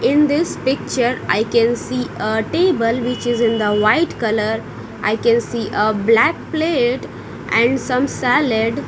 In this picture I can see a table which is in the white color I can see a black plate and some salad .